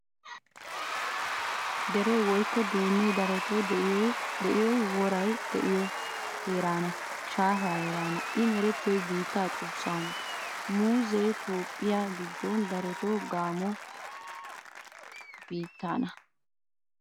Deree woykko duunnee darotoo de'iyoy woray de'iyo heeran shaafaa heeraana I merettiyoy biittaa xuussaana. Muuzzee Toophphiyaa giddon darotoo Gamo biittaana.